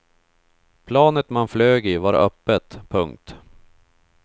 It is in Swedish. Planet man flög i var öppet. punkt